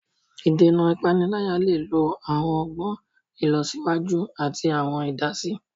Ìdènà ipanilaya le lo awọn ọgbọn ilọsiwaju ati awọn idasi.